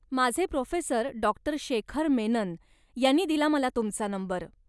माझे professor doctor Shekhar Menon यांनी दिला मला तुमचा नंबर.